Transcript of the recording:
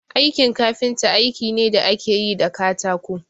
Aikin kafinta aiki ne da ake yi da katako